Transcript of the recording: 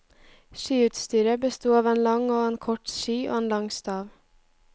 Skiutsyret besto av en lang og en kort ski og en lang stav.